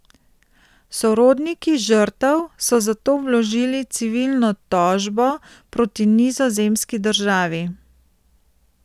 Sorodniki žrtev so zato vložili civilno tožbo proti nizozemski državi.